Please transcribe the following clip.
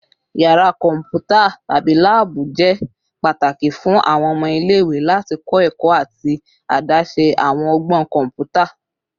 Yara kọmputa / lab jẹ pataki fun awọn ọmọ ile-iwe lati kọ ẹkọ ati adaṣe awọn ọgbọn kọnputa